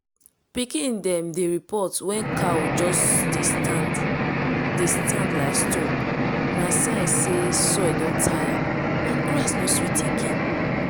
pikin dem dey report wen cow just dey stand dey stand like stone na sign say soil don tire and grass no sweet again.